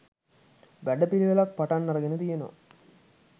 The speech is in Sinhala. වැඩපිළිවෙලක් පටන් අරගෙන තියෙනවා